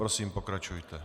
Prosím, pokračujte.